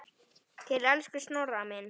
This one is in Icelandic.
Til elsku Snorra míns.